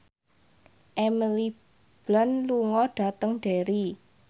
Emily Blunt lunga dhateng Derry